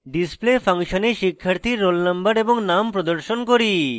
display ফাংশনে শিক্ষার্থীর roll _ no এবং name প্রদর্শন করি